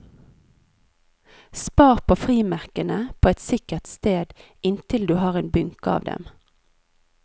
Spar på frimerkene på et sikkert sted inntil du har en bunke av dem.